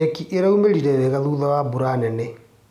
Nyeki ĩraumĩrire wega thutha wa mbura nene.